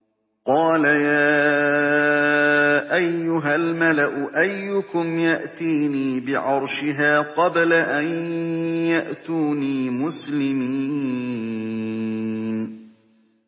قَالَ يَا أَيُّهَا الْمَلَأُ أَيُّكُمْ يَأْتِينِي بِعَرْشِهَا قَبْلَ أَن يَأْتُونِي مُسْلِمِينَ